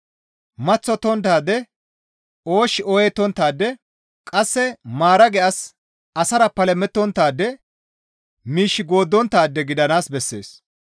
maththottonttaade, oosh ooyettonttaade, qasse maarage as, asara palamettonttaade, miish gooddonttaade gidanaas bessees.